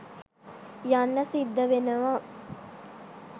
යන්න සිද්ධ වෙනව